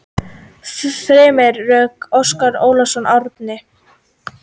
Fremri röð: Óskar Ólafsson, Árni